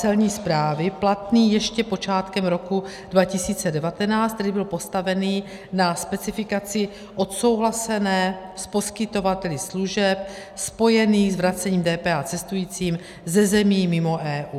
Celní správy platný ještě počátkem roku 2019, který byl postaven na specifikaci odsouhlasené s poskytovateli služeb spojených s vracením DPH cestujícím ze zemí mimo EU.